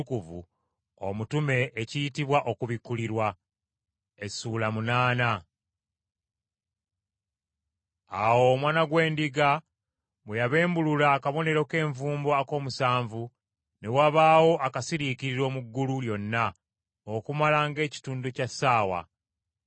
Awo Omwana gw’Endiga bwe yabembulula akabonero k’envumbo ak’omusanvu ne wabaawo akasiriikiriro mu ggulu lyonna okumala ng’ekitundu ky’essaawa.